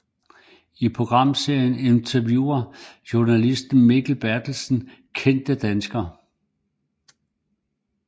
I programserien interviewer journalisten Mikael Bertelsen kendte danskere